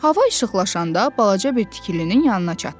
Hava işıqlaşanda balaca bir tikilinin yanına çatdılar.